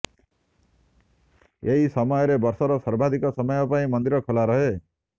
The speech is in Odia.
ଏହି ସମୟରେ ବର୍ଷର ସର୍ବାଧିକ ସମୟ ପାଇଁ ମନ୍ଦିର ଖୋଲା ରହେ